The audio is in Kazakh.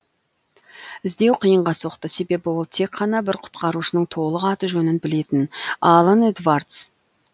іздеу қиынға соқты себебі ол тек қана бір құтқарушының толық аты жөнін білетін алан эдвардс